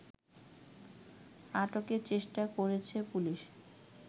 আটকের চেষ্টা করছে পুলিশ